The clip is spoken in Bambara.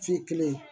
Fi kelen